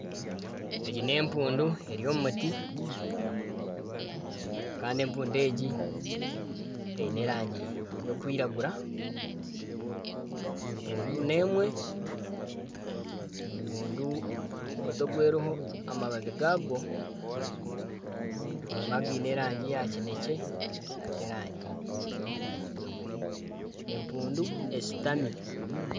Egi n'empundu eri omu muti kandi empundu egi eine erangi y'okwiragura. Empundu n'emwe. Empundu omuti ogu eriho amababi gagwo harimu againe erangi eya kinekye n'aga erangi ya kijubwe. Empundu eshutami.